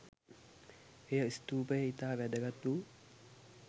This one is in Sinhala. එය ස්තූපයේ ඉතා වැදගත් වූ